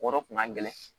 O yɔrɔ kun ka gɛlɛn